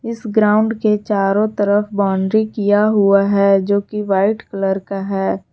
इस ग्राउंड के चारों तरफ बाउंड्री किया हुआ है जो की वाइट कलर का है।